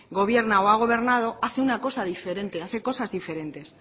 gobierna o ha gobernado hace una cosa diferente hace cosas diferentes